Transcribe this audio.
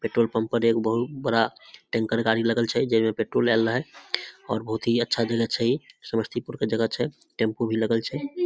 Petrol pump पर एक बहुत बड़ा टेंकर गाड़ी लगल छे जे में पेट्रोल डाले ला हई और बहुत ही अच्छा जगह छे ई समस्तीपुर के जगह छे टेम्पू भी लगल छे।